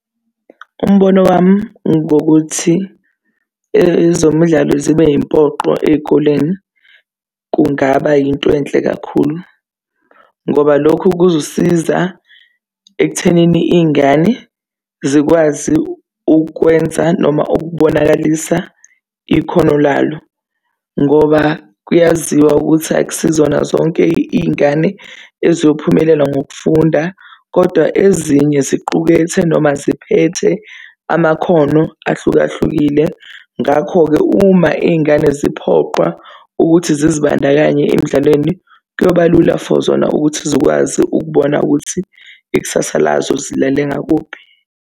Umbono wami ngokuthi ezomdlalo zibe yimpoqo ey'koleni kungaba yinto enhle kakhulu ngoba lokhu kuzosiza ekuthenini iy'ngane zikwazi ukwenza noma ukubonakalisa ikhono labo ngoba kuyaziwa ukuthi akusizona zonke iy'ngane eziyophumelela ngokufunda kodwa ezinye ziqukethe noma ziphethe amakhono ahlukahlukile. Ngakho-ke uma iy'ngane ziphoqwa ukuthi zizibandakanye emdlalweni, kuyoba lula for zona ukuthi zikwazi ukubona ukuthi ikusasa lazo zilale ngakuphi.